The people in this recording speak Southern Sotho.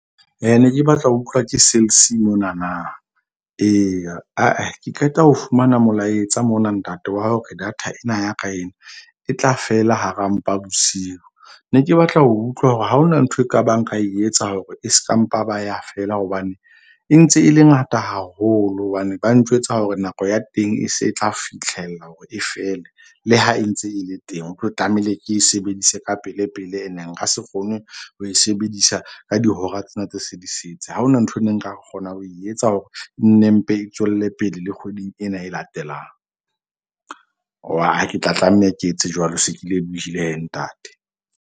Ne ke batla ho utlwa ke Cell C mona na? Eya, ke qeta ho fumana molaetsa mona ntate wa hore data ena ya ka ena e tla fela hara mpa bosiu. Ne ke batla ho utlwa hore ha hona ntho ekabang ka etsa hore e ska mpa ba ya fela. Hobane e ntse e le ngata haholo. Hobane ba ntjwetsa hore nako ya teng e se tla fitlhella hore e fele le ha e ntse e le teng. Ho tlo tlamehile e ke e sebedise ka pele pele. Ene nka se kgone ho e sebedisa ka dihora tsena tse se di setse. Ha hona nthwe ne nka kgona ho e etsa hore nne mpe tswelle pele le kgweding ena e latelang. Aa ke tla tlameha ke etse jwalo se ke lebohile ntate.